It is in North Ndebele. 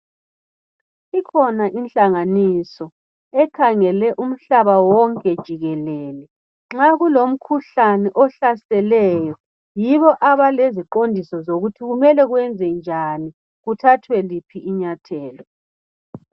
Ikhona inhlanganiso ekhangele umhlaba wonke jikelele. Nxa kulomkhuhlane ohlaseleyo, yibo abaleziqondiso zokuthi kumele kwenzenjani, kuthathwe liphi inyathelo.